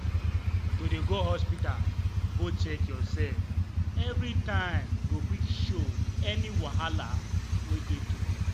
to dey go hospita go check your sef evey time go quick show any wahala wey dey tru